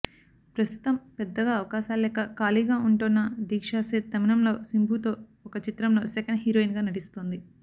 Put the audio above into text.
ప్రస్తుతం పెద్దగా అవకాశాల్లేక ఖాళీగా ఉంటోన్న దీక్షా సేథ్ తమిళంలో శింబుతో ఒక చిత్రంలో సెకండ్ హీరోయిన్గా నటిస్తోంది